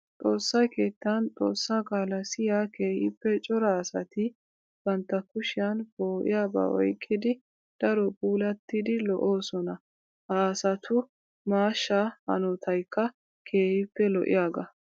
Xoossa keettan xoossa qaala siyiya keehippe cora asatti bantta kushiyan poo'iyaaba oyqqidi daro puulatidi lo'osona. Ha asatu maashsha hanotaykka keehippe lo'iyaaga.